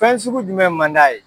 Fɛn sugu jumɛn man d'a ye?